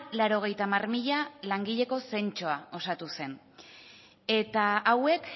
laurogeita hamar mila langileko zentsua osatu zen eta hauek